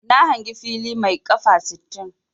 Na hangi fili mai 'kafa' sittin.